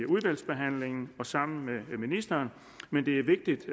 udvalgsbehandlingen og sammen med ministeren men det er vigtigt